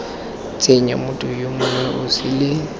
tsenya motho yo mongwe osele